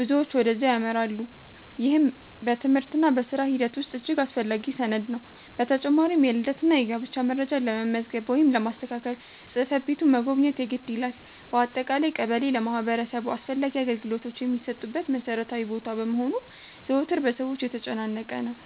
ብዙዎች ወደዚያ ያመራሉ፤ ይህም በትምህርትና በሥራ ሂደት ውስጥ እጅግ አስፈላጊ ሰነድ ነው። በተጨማሪም የልደትና የጋብቻ መረጃ ለመመዝገብ ወይም ለማስተካከል ጽሕፈት ቤቱን መጎብኘት የግድ ይላል። በአጠቃላይ ቀበሌ ለማህበረሰቡ አስፈላጊ አገልግሎቶች የሚሰጡበት መሠረታዊ ቦታ በመሆኑ ዘወትር በሰዎች የተጨናነቀ ነው።